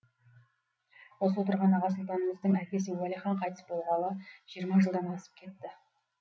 осы отырған аға сұлтанымыздың әкесі уәлихан қайтыс болғалы жиырма жылдан асып кетті